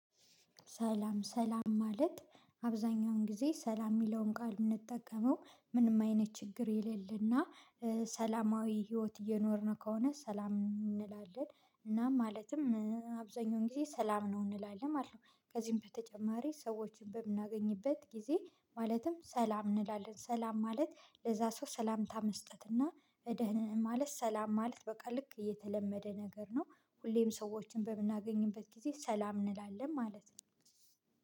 ሰላም፣ ሰላም ማለት? አብዛኛውን ጊዜ ሰላም የሚለውን ቃል የምንጠቀመው ምንም አይነት ችግር የሌለና ሰላማዊ ህይወት እየኖርን ከሆነ ሰላም እንላለን። እና ማለትም አብዛኛውን ጊዜ ሰላም ነው እንላለን ማለት ነው። ከዚህም በተጨማሪ ሰዎችን በምናገኝበት ጊዜ ማለትም ሰላም እንላለን። ሰላም ማለት ለዛ ሰው ሰላምታ መስጠት እና የደህንን ማለት፣ ሰላም ማለት በቃ ልክ እየተለመደ ነገር ነው። ሁሌም ሰዎችን በምናገኝበት ጊዜ ሰላም እንላለን ማለት ነው።